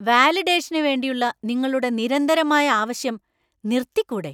വാലിഡേഷന് വേണ്ടിയുള്ള നിങ്ങളുടെ നിരന്തരമായ ആവശ്യം നിര്‍ത്തിക്കൂടെ?